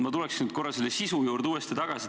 Ma tulen korra seaduse sisu juurde tagasi.